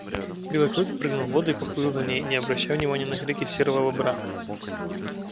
белый клык прыгнул в воду и поплыл за ней не обращая внимания на крики серого бобра